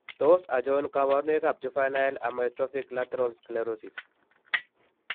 Tos achon kabarunaik ab juvinile amyotrophic lateral sclerosis